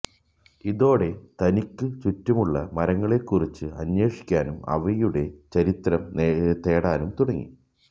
ഇതോടെ തനിക്കു ചുറ്റുമുള്ള മരങ്ങളെക്കുറിച്ച് അന്വേഷിക്കാനും അവയുടെ ചരിത്രം തേടാനും തുടങ്ങി